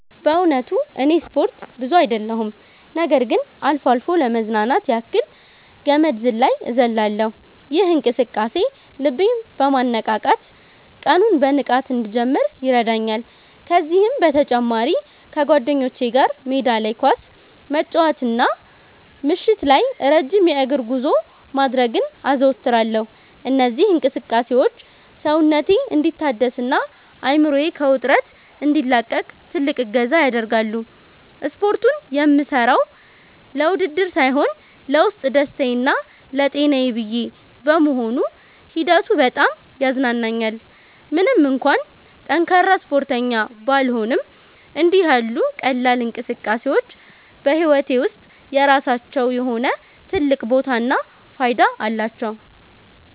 በእውነቱ እኔ ስፖርት ብዙ አይደለሁም ነገር ግን አልፎ አልፎ ለመዝናናት ያክል ገመድ ዝላይ እዘልላለሁ። ይህ እንቅስቃሴ ልቤን በማነቃቃት ቀኑን በንቃት እንድጀምር ይረዳኛል። ከዚህም በተጨማሪ ከጓደኞቼ ጋር ሜዳ ላይ ኳስ መጫወትና ምሽት ላይ ረጅም የእግር ጉዞ ማድረግን አዘወትራለሁ። እነዚህ እንቅስቃሴዎች ሰውነቴ እንዲታደስና አእምሮዬ ከውጥረት እንዲላቀቅ ትልቅ እገዛ ያደርጋሉ። ስፖርቱን የምሠራው ለውድድር ሳይሆን ለውስጥ ደስታዬና ለጤናዬ ብዬ በመሆኑ ሂደቱ በጣም ያዝናናኛል። ምንም እንኳን ጠንካራ ስፖርተኛ ባልሆንም፣ እንዲህ ያሉ ቀላል እንቅስቃሴዎች በሕይወቴ ውስጥ የራሳቸው የሆነ ትልቅ ቦታና ፋይዳ አላቸው።